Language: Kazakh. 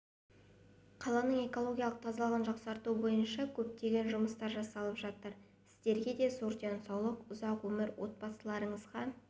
қаланың экологиялық тазалығын жақсарту бойынша көптеген жұмыстар жасалып жатыр сіздерге зор денсаулық ұзақ өмір отбасыларыңызға